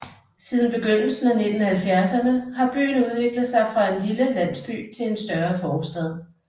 Siden begyndelsen af 1970erne har byen udviklet sig fra en lille landsby til en større forstad